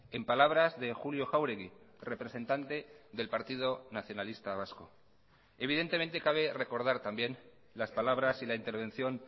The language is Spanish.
en palabras de julio jáuregui representante del partido nacionalista vasco evidentemente cabe recordar también las palabras y la intervención